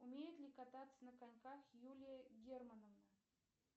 умеет ли кататься на коньках юлия германовна